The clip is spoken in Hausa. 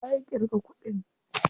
Waye ya ƙirga kuɗin?